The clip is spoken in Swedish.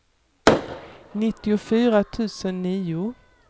nittiofyra tusen nio